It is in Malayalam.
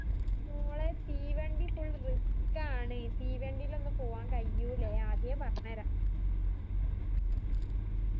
മോളേയ് തീവണ്ടി full risk ആണ് തീവണ്ടിലൊന്നും പോവ്വാൻ കയ്യൂല്ലേ ആദിയെ പറഞ്ഞേ